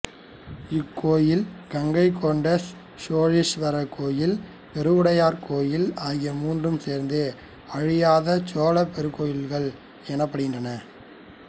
இக்கோவில் கங்கைகொண்ட சோழீஸ்வரர் கோயில் பெருவுடையார் கோயில் ஆகிய மூன்றும் சேர்த்து அழியாத சோழர் பெருங்கோயில்கள் எனப்படுகின்றன